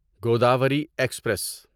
Godavari express